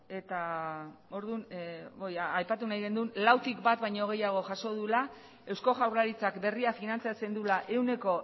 eta orduan aipatu nahi gendun lautik bat baino gehiago jaso duela eusko jaurlaritzak berria finantzatzen duela ehuneko